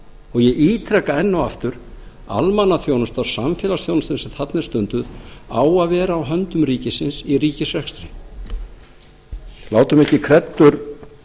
og ég ítreka enn og aftur almannaþjónusta samfélagsþjónusta sem þarna er stunduð á að vera á höndum ríkisins í ríkisrekstri látum ekki kreddur